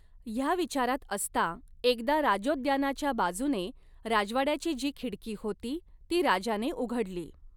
ह्या विचारात असता एकदा राजोद्यानाच्या बाजूने राजवाड्याची जी खिडकी होती ती राजाने उघडली.